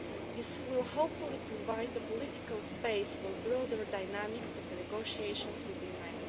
This will hopefully provide the political space for broader dynamics of the negotiations with the UK.